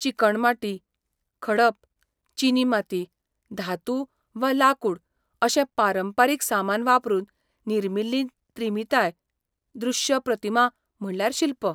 चिकण माती, खडप, चिनी माती, धातू वा लाकूड अशें पारंपरीक सामान वापरून निर्मिल्ली त्रिमितीय दृश्य प्रतिमा म्हटल्यार शिल्प.